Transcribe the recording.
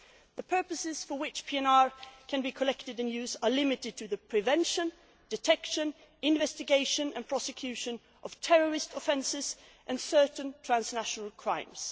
The purposes for which PNR can be collected and used are limited to the prevention, detection, investigation and prosecution of terrorist offences and certain transnational crimes.'